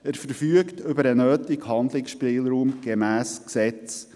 Er verfügt über den nötigen Handlungsspielraum gemäss Gesetz.